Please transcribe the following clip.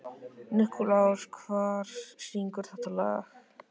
Nikulás, hver syngur þetta lag?